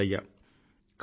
Visvesvaraya